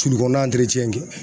Sulu kɔnɔna